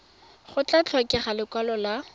go tla tlhokega lekwalo la